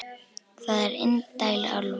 Það er indæl álfa.